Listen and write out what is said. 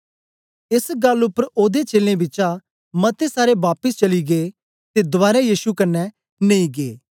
एस गल्ल उपर ओदे चेलें बिचा मते सारे बापिस चली गै ते दवारै यीशु कन्ने नेई गै